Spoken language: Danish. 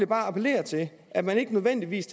bare appellere til at man ikke nødvendigvis